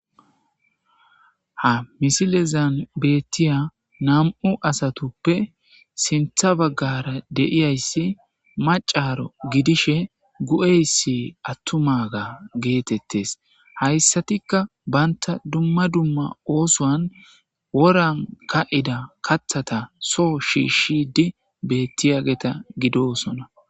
Ha misilezan bettiya nam7u asatuppe sintha baggara deiyayssi macaro gidishe gu7eyssi attumaga geetettes hayssatikka banta dumma dumma oosoan woran ka7ida kathata soo shiishidi bettiyageta gidosona.